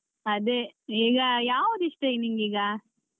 ಅದೇ ಈಗ ಯಾವ್ದ್ ಇಷ್ಟ ನಿನ್ಗೀಗ?